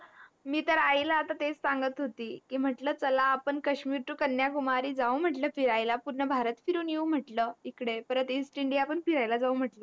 मी तर आई ला आता तेच संगत होती की म्हटल चल आपण काश्मीर TO कन्याकुमारी जाऊ म्हटल फिरायला पूर्ण भारत फिरून येऊन म्हटल इकडे परत EASTINDIA पण फिरायला जाऊ म्हटल